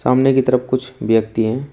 खंबे की तरफ कुछ व्यक्ति हैं।